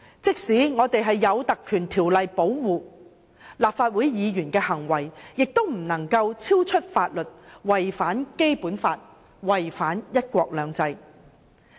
即使立法會議員受《立法會條例》保障，議員的行為亦不能超出法律的規定，違反《基本法》、違反"一國兩制"。